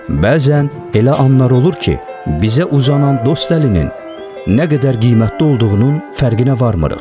Bəzən elə anlar olur ki, bizə uzanan dost əlinin nə qədər qiymətli olduğunun fərqinə varmırıq.